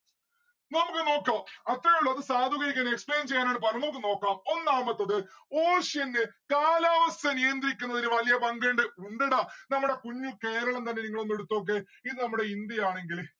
നമ്മുക്ക് നോക്കാം അത്രേയുള്ളു അത് explain ചെയ്യാനാണ് പറയണ് നമ്മുക്ക് നോക്കാം. ഒന്നാമത്തത് ocean ന്റെ കാലാവസ്ഥ നിയന്ത്രിക്കുന്നതിന് വല്യ പങ്കിണ്ട് എന്ത് ടാ നമ്മടെ കുഞ്ഞു കേരളം തന്നെ നിങ്ങളൊന്ന് എടുത്തോക്ക് ഇത് നമ്മടെ ഇന്ത്യ ആണെങ്കില്